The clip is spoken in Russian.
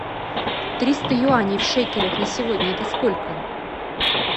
триста юаней в шекелях на сегодня это сколько